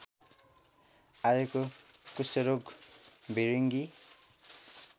आएको कुष्ठरोग भिरिङ्गी